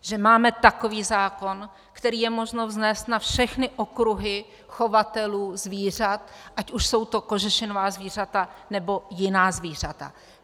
Že máme takový zákon, který je možno vznést na všechny okruhy chovatelů zvířat, ať už jsou to kožešinová zvířata nebo jiná zvířata.